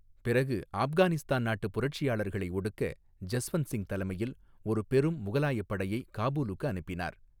பிறகு ஆப்கானிஸ்தான் நாட்டு புரட்சியாளர்களை ஒடுக்க ஜஸ்வந்த்சிங் தலைமையில் ஒரு பெரும் முகலாய படையை காபூலுக்கு அனுப்பினார்.